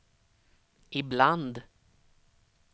ibland